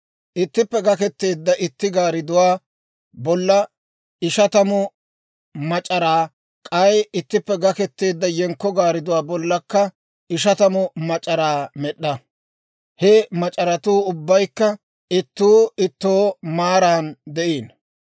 Ittippe gaketeedda itti gaardduwaa bolla ishatamu mac'araa, k'ay ittippe gaketeedda yenkko gaardduwaa bollakka ishatamu mac'araa med'd'a; he mac'aratuu ubbaykka ittuu ittoo maaran de'ino.